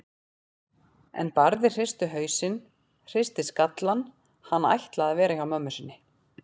En Barði hristi hausinn, hristi skallann, hann ætlaði að vera hjá mömmu sinni.